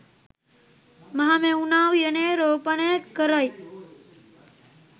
මහමෙවුනා උයනේ් රෝපණය කරයි.